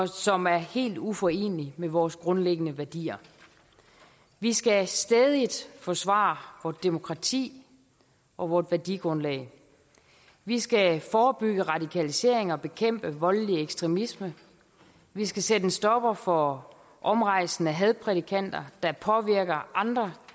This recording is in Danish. som er helt uforeneligt med vores grundlæggende værdier vi skal stædigt forsvare vort demokrati og vort værdigrundlag vi skal forebygge radikalisering og bekæmpe voldelig ekstremisme vi skal sætte en stopper for omrejsende hadprædikanter der påvirker andre